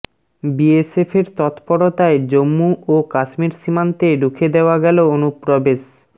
বিএসএফের তত্পরতায় জম্মু ও কাশ্মীর সীমান্তে রুখে দেওয়া গেল অনুপ্রবেশ